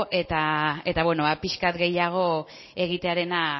eta beno pixka bat gehiago egitearena